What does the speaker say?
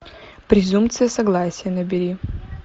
презумпция согласия набери